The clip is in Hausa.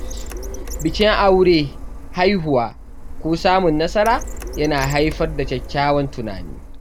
Bikin aure, haihuwa, ko samun nasara yana haifar da kyawawan tunani.